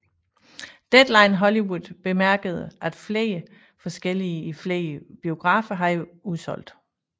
Deadline Hollywood bemærkede at flere forestillinger i flere biografer havde udsolgt